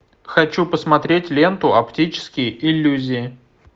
хочу посмотреть ленту оптические иллюзии